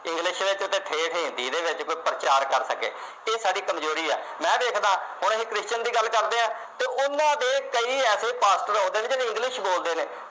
english ਵਿਚ ਤੇ ਠੇਠ ਹਿੰਦੀ ਦੇ ਵਿਚ ਕੋਈ ਪ੍ਰਚਾਰ ਕਰ ਸਕੇ ਇਹ ਸਾਡੀ ਕਮਜ਼ੋਰੀ ਹੈ ਮੈਂ ਵੇਖਦਾ ਹੁਣ ਅਸੀ christian ਦੀ ਗੱਲ ਕਰਦੇ ਹਾ ਤੇ ਉਹਨਾਂ ਦੇ ਕਈ ਐਸੇ ਪਾਸਟਰ ਆਉਦੇ ਨੇ ਜਿਹੜੇ english ਬੋਲਦੇ ਨੇ